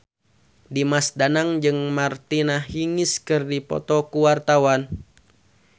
Dimas Danang jeung Martina Hingis keur dipoto ku wartawan